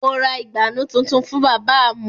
Mo ra ìgbànú tuntun fún bábà mu